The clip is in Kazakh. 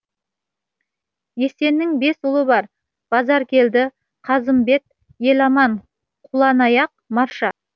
есеннің бес ұлы бар базаркелді қазымбет еламан құланаяқ марша